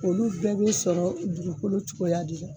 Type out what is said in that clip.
Olu bɛɛ bɛ sɔrɔ dugukolo cogoya de la